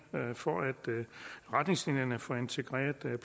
for at retningslinjerne for integreret